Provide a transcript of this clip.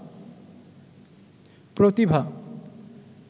প্রতিভা